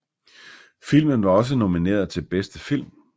Filmen var også nomineret til bedste film